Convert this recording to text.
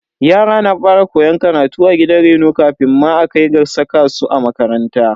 Yara na fara koyon karatu a gidan reno kafin ma a kai ga saka su a makaranta.